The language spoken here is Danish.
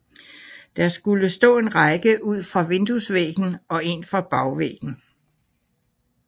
Der skulle stå en række ud fra vinduesvæggen og en fra bagvæggen